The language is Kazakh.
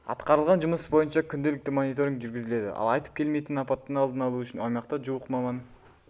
атқарылған жұмыс бойынша күнделікті мониторинг жүргізіледі ал айтып келмейтін апаттың алдын алу үшін аймақта жуық маман